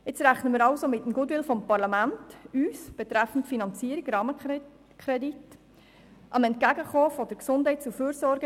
Wir rechnen nun also mit dem Goodwill des Parlaments, uns betreffend Finanzierung, also betreffend Rahmenkredit, zu unterstützen.